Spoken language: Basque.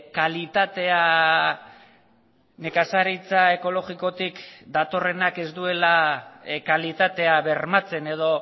kalitatea nekazaritza ekologikotik datorrenak ez duela kalitatea bermatzen edo